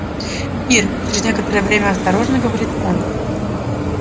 ир через некоторое время осторожно говорит он